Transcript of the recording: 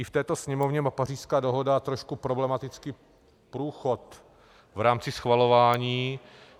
I v této Sněmovně má Pařížská dohoda trošku problematický průchod v rámci schvalování.